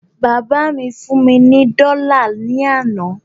Bàbá mí fún mí ní dọ́là ní àná